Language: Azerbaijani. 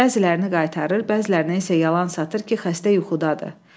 Bəzilərini qaytarır, bəzilərini isə yalan satır ki, xəstə yuxudadır.